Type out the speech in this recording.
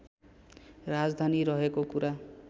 राजधानी रहेको कुरा